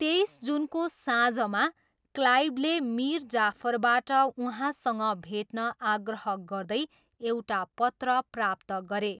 तेइस जुनको साँझमा, क्लाइभले मिर जाफरबाट उहाँसँग भेट्न आग्रह गर्दै एउटा पत्र प्राप्त गरे।